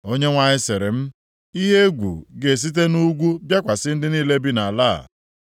Onyenwe anyị sịrị m, “Ihe egwu ga-esite nʼugwu bịakwasị ndị niile bi nʼala a.